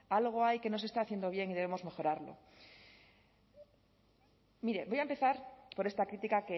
algo hay que no se está haciendo bien y debemos mejorarlo mire voy a empezar por esta crítica